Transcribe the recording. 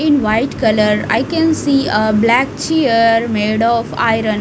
in white color i can see a black chair made of iron .